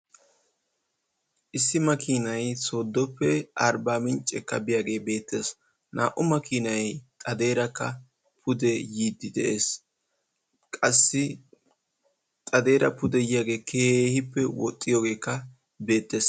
Issi makinay soodoppe ayrbamincce biyaagee beettees. Naa"u maakinaay xadeerakka xadeerakka pude yiidi de'ees. qassi xadeera pude yiyaagee keehippe woxxiyoogekka bettees.